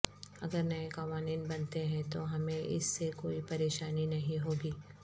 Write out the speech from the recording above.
اگر نئے قوانین بنتے ہیں تو ہمیں اس سے کوئی پریشانی نہیں ہوگی